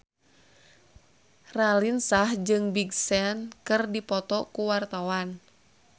Raline Shah jeung Big Sean keur dipoto ku wartawan